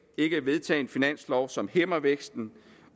ikke at vedtage en finanslov som hæmmer væksten